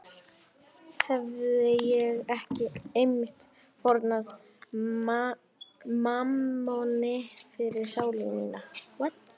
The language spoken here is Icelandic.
Hefi ég ekki einmitt fórnað mammoni fyrir sálu mína?